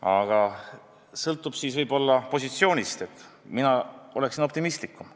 Võib-olla see sõltub positsioonist, sest mina olen optimistlikum.